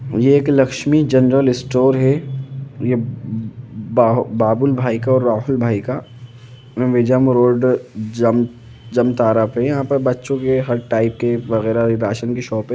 ये एक Lakshmi general store है ये बा-बा-बाबुन भाई का और राहुल भाई का मिहिजाम रोड जम जामताड़ा पर यहां बच्चों के हर टाइप के वगेरा राशन की शॉप है।